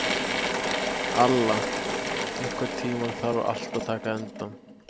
Alla, einhvern tímann þarf allt að taka enda.